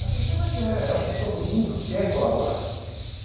Eu falei assim, mas é, acho que todo mundo quer colaborar.